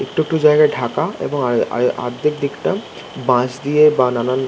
একটু একটু জায়গায় ঢাকা এবং আয় আয় আর্ধেক দিকটা বাঁশ দিয়ে বানানো --